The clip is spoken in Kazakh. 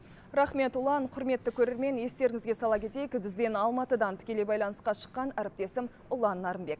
рақмет ұлан құрметті көрермен естеріңізге сала кетейік бізбен алматыдан тікелей байланысқа шыққан әріптесім ұлан нарынбек